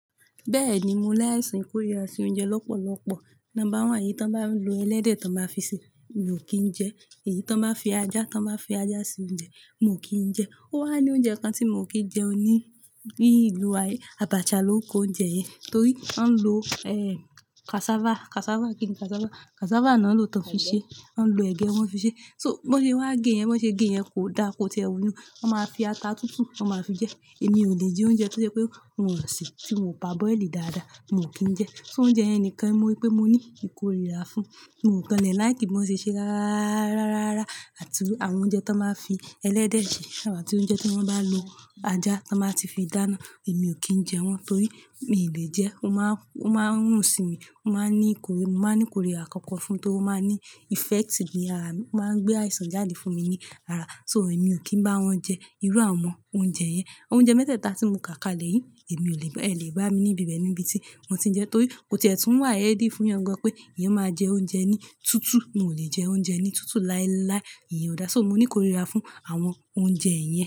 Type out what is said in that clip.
Bẹ́ẹ̀ni, mo láìsan ikórira sí oúnjẹ lọ́pọ̀lọ́pọ̀. Number one, èyí tó ń bá lo ẹlẹ́dẹ̀ tó báa fi ṣe, mi ò kí ń jẹ. Èyí tó n báa fi ajá, tó n báa fi ajá se oúnjẹ, mo kì í jẹ. Ó wà ní oúnjẹ kan tí mi o kì í jẹ ní ìlú wa yen. Àbàṣà lóo kó oúnjẹ yẹn. Torí ó ń lo, ẹ́, cassava, cassava kíni cassava. Cassava náà lòó tan fi ṣe. Wọ́n ń lo ẹ̀gẹ́, wọ́n fi ṣe. So bó ṣe wá gé yẹn, bó ṣe gé yẹn kò da, kò ti e wúlò. Wọ́n máa fi ata tútù, wọ́n máa fi jẹ. Èmi ò lè jẹ oúnjẹ tó ṣe pé wọ́n ó ṣè tí mo perboil dáadáa, mo kì í jẹ. Sóó oúnjẹ yen nìkan mo rí pé mo ní ìkórìíra fún. Mo i kon le like bí wọ́n ṣe ṣe rárá, rárá àti àwọn oúnjẹ tí wọ́n máa fi ẹlẹ́dẹ̀ ṣe àti oúnjẹ tí wọ́n bá lo ajá tí wọ́n bá ti fi dáná. Èmi ò kí ń jẹ wọ́n torí mi ò lè jẹ. Ó máa ń, ó máa ń rùn sí mi, ó máa ń ní ìkórira. Mo máa ń ní ìkórira nkankan fún torí ó máa ń ní effect ní ara mi. Ó máa ń gbé àìsàn jáde fún mi ní ara. So èmi ò kí ń bá wọn jẹ irú àwọn oúnjẹ yẹn. Oúnjẹ mẹ́tẹ̀ẹ̀ta tí mo kà kalẹ̀ yìí, èmi ò lè ba, ẹ o lè bá mi ní ibi bẹ́ẹ̀ níbi tí mo ti ń jẹ torí kò ti e tún wà healthy fún eyan pé eyan máa jẹ oúnjẹ ní tútù. Mi o lè jẹ oúnjẹ ní tútù láíláí. Iyẹn ò dáa. So mo ní ìkórìíra fún àwọn oúnjẹ yẹn.